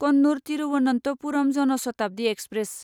Kannur Thiruvananthapuram Jan Shatabdi express